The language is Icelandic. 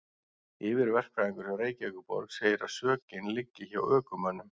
Yfirverkfræðingur hjá Reykjavíkurborg segir að sökin liggi hjá ökumönnum.